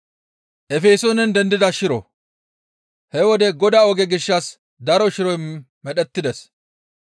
He wode Godaa oge gishshas daro shiroy medhettides.